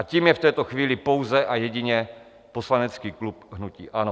A tím je v této chvíli pouze a jedině poslanecký klub hnutí ANO.